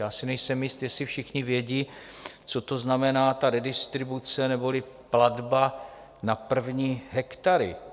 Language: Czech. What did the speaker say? Já si nejsem jist, jestli všichni vědí, co to znamená ta redistribuce neboli platba na první hektary.